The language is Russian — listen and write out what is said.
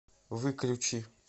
выключи